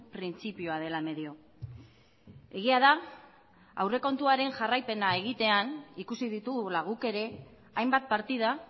printzipioa dela medio egia da aurrekontuaren jarraipena egitean ikusi ditugula guk ere hainbat partida